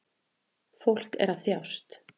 Fólk er að þjást